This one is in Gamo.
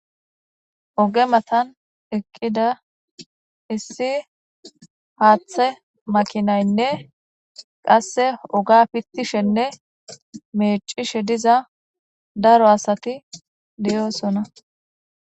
Ogge mattani eqidda issi hathe makinayinne qaasee oge meccishe diza assati deyosona.